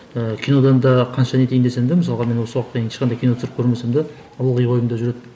ыыы кинодан да қанша не етейін десең де мысалға мен осы уақытқа дейін ешқандай кино түсірмесем де ылғи ойымда жүреді